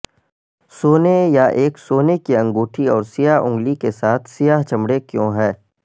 سونے یا ایک سونے کی انگوٹھی اور سیاہ انگلی کے ساتھ سیاہ چمڑے کیوں ہے